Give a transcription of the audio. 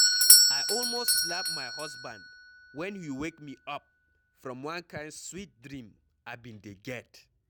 I almost slap my husband wen he wake me up from one kin Sweet dream I bin dey get.